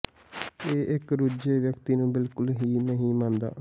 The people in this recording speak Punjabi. ਇਹ ਇੱਕ ਰੁੱਝੇ ਵਿਅਕਤੀ ਨੂੰ ਬਿਲਕੁਲ ਹੀ ਨਹੀਂ ਮੰਨਦਾ